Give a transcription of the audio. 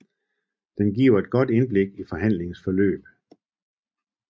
Den giver et godt indblik i forhandlingernes forløb